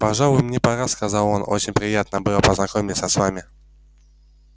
пожалуй мне пора сказал он очень приятно было познакомиться с вами